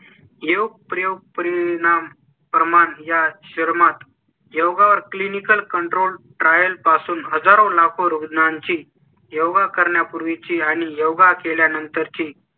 येऊ प्रयोग परिणाम प्रमाणे या शरमत योगा वर clinical control trial पासून हजारो लाखो रुग्णांची योगा करण्यापूर्वी ची आणि योगा केल्यानंतर ची